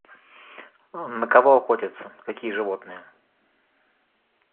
на кого охотятся какие животные